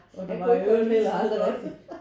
Han kunne ikke huske det